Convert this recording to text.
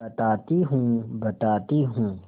बताती हूँ बताती हूँ